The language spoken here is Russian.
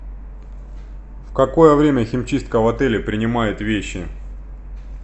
в какое время химчистка в отеле принимает вещи